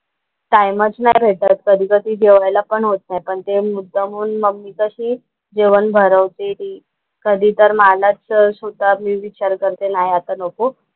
टाइमच नाही भेटत कधी कधी जेवयला पण होत नाही. पण ते मुद्दामून मम्मी कशी जेवण भरवते. कधी तर मलाच स्वतः मी विचार करते नाही आता नको.